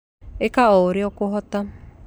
Ĩka o urĩa ũkũhota